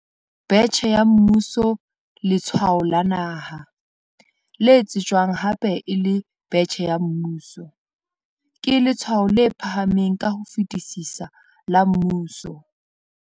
Betjhe ya Mmuso Letshwao la Naha, le tsejwang hape e le betjhe ya mmuso, ke letshwao le phahameng ka ho fetisisa la mmuso.